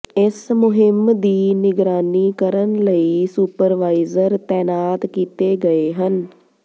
ਇਸ ਮੁਹਿੰਮ ਦੀ ਨਿਗਰਾਨੀ ਕਰਨ ਲਈ ਸੁਪਰਵਾਈਜ਼ਰ ਤੈਨਾਤ ਕੀਤੇ ਗਏ ਹਨ